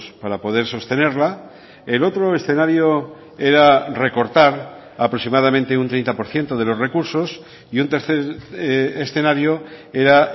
para poder sostenerla el otro escenario era recortar aproximadamente un treinta por ciento de los recursos y un tercer escenario era